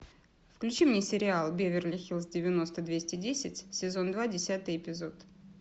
включи мне сериал беверли хиллз девяносто двести десять сезон два десятый эпизод